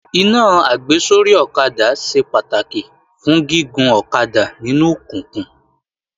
Iná àgbésórí ọ̀kadà ṣe pàtàkì fún gígun ọ̀kadà nínú òkùnkùn